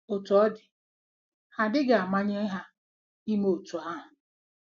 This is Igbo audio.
Otú ọ dị, ha adịghị amanye ha ime otú ahụ.